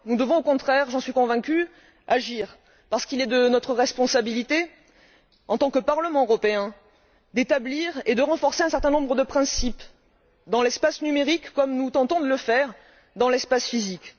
Nous devons au contraire, et j'en suis convaincue, agir parce qu'il est de notre responsabilité en tant que Parlement européen d'établir et de renforcer un certain nombre de principes dans l'espace numérique, comme nous tentons de le faire dans l'espace physique.